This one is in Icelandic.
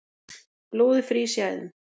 Blóðið frýs í æðum